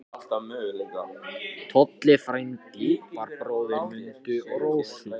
Tolli frændi var bróðir Mundu og Rósu.